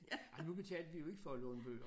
Ej nu betalte vi jo ikke for at låne bøger